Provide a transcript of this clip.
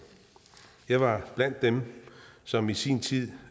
jeg var blandt dem som i sin tid